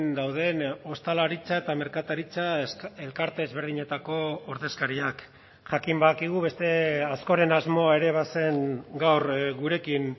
dauden ostalaritza eta merkataritza elkarte ezberdinetako ordezkariak jakin badakigu beste askoren asmoa ere bazen gaur gurekin